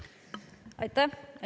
Aitäh!